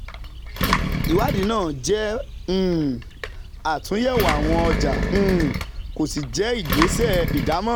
ìwádìí náà jẹ́ um àtúnyẹ̀wò àwọn ọjà um kò sì jẹ́ ìgbésẹ̀ ìdámọ̀ràn.